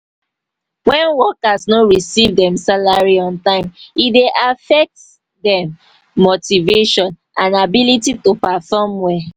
when workers no receive dem salary on time e dey affect dem motivation and ability to perform well.